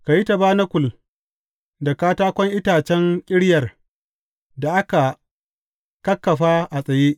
Ka yi tabanakul da katakon itacen ƙiryar da aka kakkafa a tsaye.